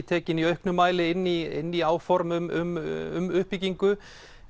tekin í auknu mæli inn í inn í áform um uppbyggingu